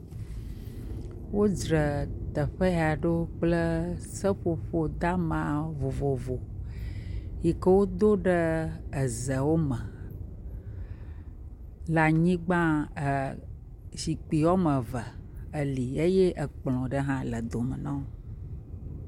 Wodzra teƒe ya ɖo kple seƒoƒo dama vovovo yi ke wodo ɖe ezewo me le anyigba, zikpui woame eve li eye ekplɔ ɖe hã le dome na wo.